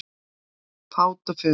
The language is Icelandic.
Fát og fum